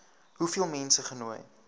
hoeveel mense genooi